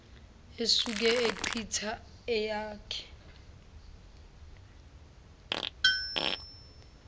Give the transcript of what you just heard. esuke echitha eyakhe